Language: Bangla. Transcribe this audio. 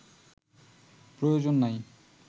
প্রয়োজন নাই